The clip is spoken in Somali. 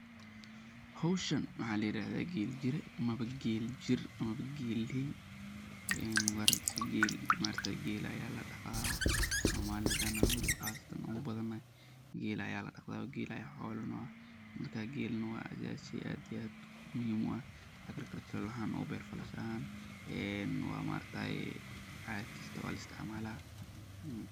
Howshan mxa layirahda gel jir Dhaqashada geelku waa qayb muhiim ah oo ka mid ah dhaqanka iyo nolosha bulshada reer guuraaga ah. Geelku wuxuu siinayaa caano, hilib, iyo xataa dhaqaale dhoofin. Wuxuu u dulqaadan karaa kulaylka daran iyo biyo yaraanta, taasoo ka dhigaysa xoolo aad ugu habboon deegaanka saxaraha ah. mxa laisticmalye.